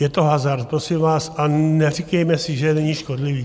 Je to hazard, prosím vás, a neříkejme si, že není škodlivý.